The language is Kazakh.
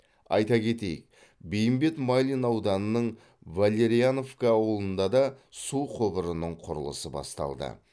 айта кетейік бейімбет майлин ауданының валерьяновка ауылында да су құбырының құрылысы басталды